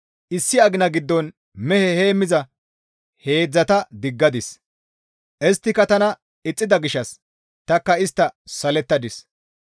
Issi agina giddon mehe heemmiza heedzdzata diggadis; isttika tana ixxida gishshas tanikka istta salettadis.